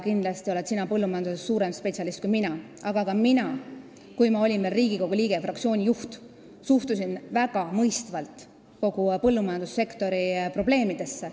Kindlasti oled sina põllumajanduses suurem spetsialist kui mina, aga ka mina, kui ma olin veel Riigikogu liige ja fraktsiooni juht, suhtusin väga mõistvalt kogu põllumajandussektori probleemidesse.